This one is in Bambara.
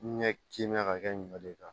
Ɲɛ kimɛn ka kɛ ɲɔ de kan